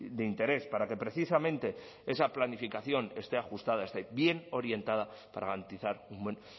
de interés para que precisamente esa planificación esté ajustada esté bien orientada para garantizar un buen